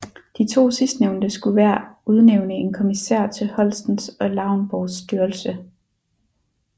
De to sidstnævnte skulle hver udnævne en kommisær til Holstens og Lauenborgs styrelse